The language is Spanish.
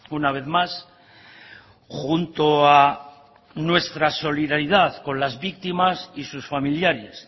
una vez más junto a nuestra solidaridad con las víctimas y sus familiares